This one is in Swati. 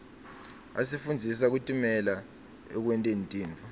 asifundzisa kutimela ekwenteni tintfo